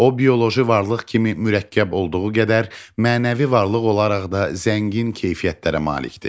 O bioloji varlıq kimi mürəkkəb olduğu qədər, mənəvi varlıq olaraq da zəngin keyfiyyətlərə malikdir.